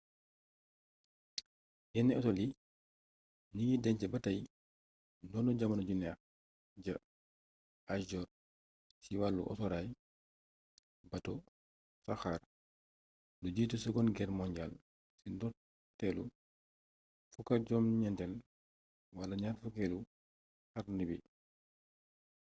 yenn hôtel yii ngi deñc ba tay ndono jamono ju neex ja âge d'or ci wàllu autoraay bato saxaar; lu jiitu seconde guerre mondiale ci ndoorleetu 19eel wala 20eelu xarni bi